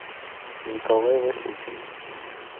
николай васютин